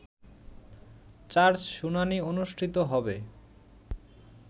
charge শুনানি অনুষ্ঠিত হবে